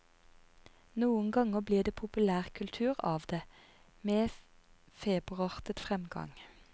Noen ganger blir det populærkultur av det, med feberartet fremgang.